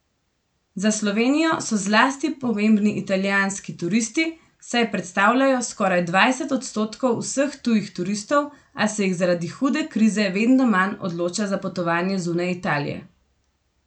Za Slovenijo so zlasti pomembni italijanski turisti, saj predstavljajo skoraj dvajset odstotkov vseh tujih turistov, a se jih zaradi hude krize vedno manj odloča za potovanja zunaj Italije.